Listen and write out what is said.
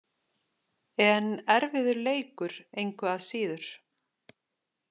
En erfiður leikur, engu að síður.